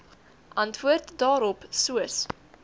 antwoord daarop soos